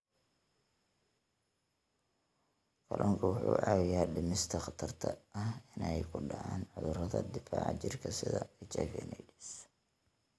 Kalluunku wuxuu caawiyaa dhimista khatarta ah inay ku dhacaan cudurrada difaaca jirka sida HIV/AIDS.